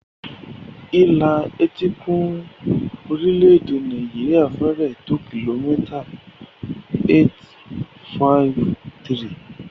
Ìlà etíkun orílẹ̀-èdè Nàìjíríà fẹ́rẹ̀ẹ́ tó kìlómítà 853.